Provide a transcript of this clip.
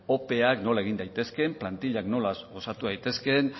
ope ak nola egin daitezkeen plantilak nola osatu daitezke